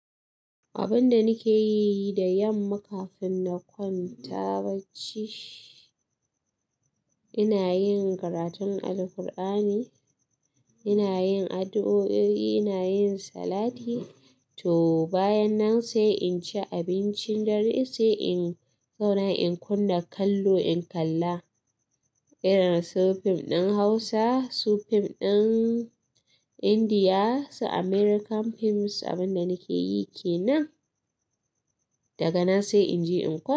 Abinda nike yi da yamma kafin na kwanta bacci, ina yin karatun Alqur'ani, ina yin addu'o'i, ina yin salati to bayan nan sai inci abincin dare sai in zauna in kunna kallo in kalla irin su fim ɗin Hausa, su fim ɗin Indiya, su American films abinda nike yi kenan. Daga nan sai inje in kwan.